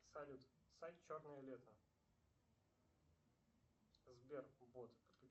салют сайт черное лето сбер бот